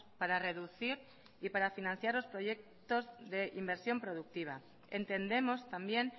para reducir y para financiar los proyectos de inversión productiva entendemos también